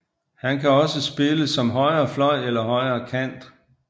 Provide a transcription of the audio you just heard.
Han kan også spille som højrefløj eller højrekant